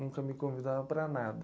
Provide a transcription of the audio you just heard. Nunca me convidava para nada.